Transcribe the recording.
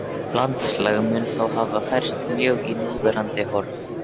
Landslag mun þá hafa færst mjög í núverandi horf.